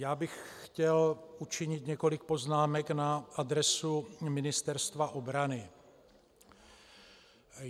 Já bych chtěl učinit několik poznámek na adresu Ministerstva obrany.